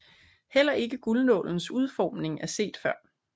Heller ikke guldnålens udformning er set før